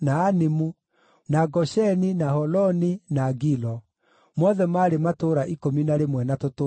na Gosheni, na Holoni, na Gilo; mothe maarĩ matũũra ikũmi na rĩmwe na tũtũũra twamo.